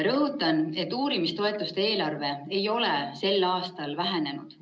Rõhutan, et uurimistoetuste eelarve ei ole sel aastal vähenenud.